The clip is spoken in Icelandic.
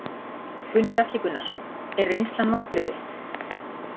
Gunnar Atli Gunnarsson: Er reynslan vonbrigði?